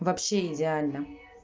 вообще идеально